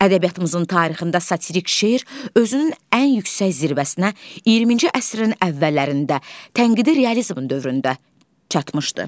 Ədəbiyyatımızın tarixində satirik şeir özünün ən yüksək zirvəsinə 20-ci əsrin əvvəllərində tənqidi realizm dövründə çatmışdı.